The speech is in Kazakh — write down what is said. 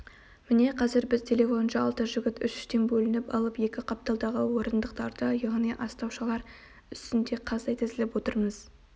міне қазір біз телефоншы алты жігіт үш-үштен бөлініп алып екі қапталдағы орындықтарда яғни астаушалар үстінде қаздай тізіліп отырмыз